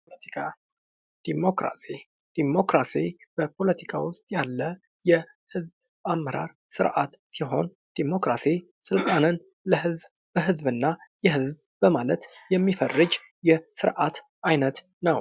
እዚህ ጋር ዲሞክራሲ: ዲሞክራሲ በፖለቲካ ዉስጥ ያለ የህዝብ አመራር ስርዓት ሲሆን ዲሞክራሲ ስልጣንን ለሕዝብ በሕዝብ እና የህዝብ በማለት የሚፈርጅ የሥርዓት አይነት ነው::